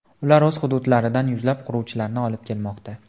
Ular o‘z hududlaridan yuzlab quruvchilarni olib kelmoqda.